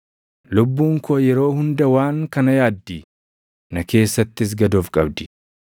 Lubbuun koo yeroo hunda waan kana yaaddi; na keessattis gad of qabdi.